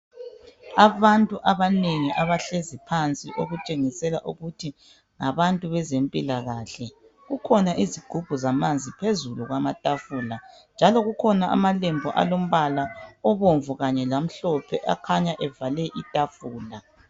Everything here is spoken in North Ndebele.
Abantu abanengi abahlezi phansi okutshengisela ukuthi ngabantu bezempilakahle kukhona izigubhu zamanzi phezulu kwamatafula njalo kukhona amalembu alombala obomvu kanye lamhlophe akhanya evale itafula